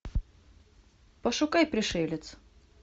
пошукай пришелец